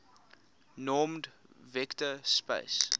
normed vector space